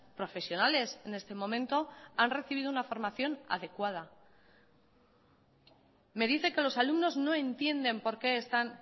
profesionales en este momento han recibido una formación adecuada me dice que los alumnos no entienden por qué están